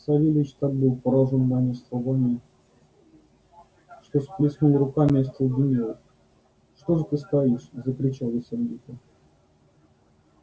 савельич так был поражён моими словами что сплёснул руками и остолбенел что же ты стоишь закричал я сердито